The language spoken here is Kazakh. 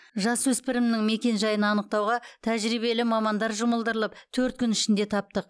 жасөспірімнің мекенжайын анықтауға тәжірибелі мамандар жұмылдырылып төрт күн ішінде таптық